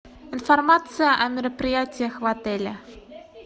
информация о мероприятиях в отеле